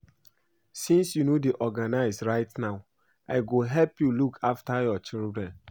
Since you no dey organized right now I go help you look after your children